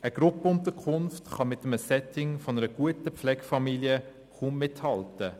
Eine Gruppenunterkunft kann mit einem Setting einer guten Familie kaum mithalten.